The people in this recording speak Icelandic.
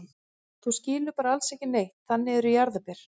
Þú skilur bara alls ekki neitt, þannig eru jarðarber.